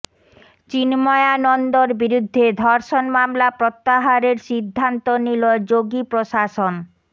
চিণ্ময়ানন্দর বিরুদ্ধে ধর্ষণ মামলা প্রত্যাহারের সিদ্ধান্ত নিল যোগী প্রশাসন